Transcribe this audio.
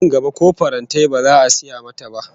Nan gaba ko farantai ba za a saya mata ba